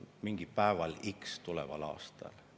Mingil päeval x tuleval aastal.